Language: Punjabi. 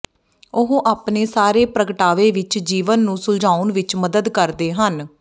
ਉਹ ਆਪਣੇ ਸਾਰੇ ਪ੍ਰਗਟਾਵੇ ਵਿਚ ਜੀਵਨ ਨੂੰ ਸੁਲਝਾਉਣ ਵਿਚ ਮਦਦ ਕਰਦੇ ਹਨ